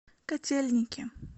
котельники